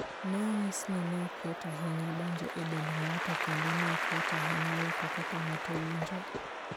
Ne onyis ni ne ok yot ahinya donjo e dend ng'ato kendo ne ok yot ahinya loko kaka ng'ato winjo.